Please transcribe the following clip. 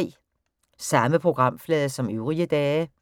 Samme programflade som øvrige dage